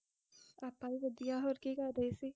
ਬਸ ਵੈਲੀ ਬੈਠੀ ਸੀਗੀ ਵੈਸੇ